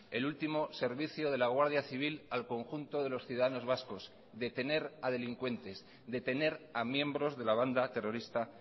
el último servicio de la guardia civil al conjunto de los ciudadanos vascos detener a delincuentes detener a miembros de la banda terrorista